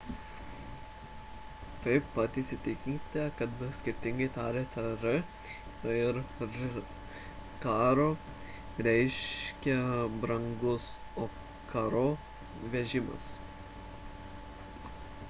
taip pat įsitikinkite kad skirtingai tariate r ir rr caro reiškia brangus o carro – vežimas